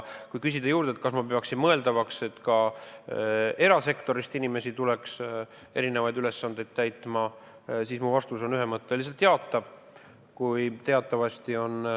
Kui küsida, kas ma peaksin mõeldavaks, et ka erasektorist tuleks inimesi erinevaid ülesandeid täitma, siis mu vastus on ühemõtteliselt jaatav.